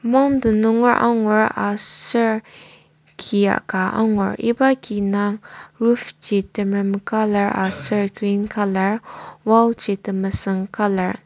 mountain nunger angur aser kia ka angur iba ki indang roof ji temerem colour aser green colour wall ji temesüng colour .